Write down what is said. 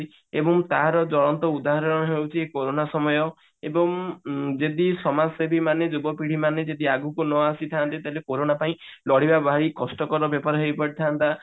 ଏବଂ ତାର ଉଦାହରଣ ହେଉଛି କୋରୋନା ସମୟ ଏବଂ ଯଦି ସମାଜସେବୀ ମାନେ ଜୀବପିଢି ମାନେ ଯଦି ଆଗକୁ ନ ଆସିଥାନ୍ତେ ତାହେଲେ କୋରୋନା ପାଇଁ ଲଢିବା ପାଇଁ ଭାରି କଷ୍ଟକର ହେଇପେଇଥାନ୍ତା